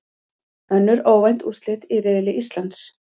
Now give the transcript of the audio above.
Önnur óvænt úrslit í riðli Íslands